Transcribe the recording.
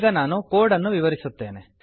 ಈಗ ನಾನು ಕೋಡ್ ಅನ್ನು ವಿವರಿಸುತ್ತೇನೆ